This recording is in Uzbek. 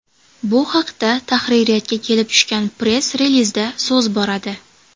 Bu haqda tahririyatga kelib tushgan press-relizda so‘z boradi.